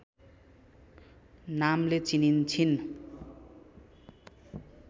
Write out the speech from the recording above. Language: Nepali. नामले चिनिन्छिन्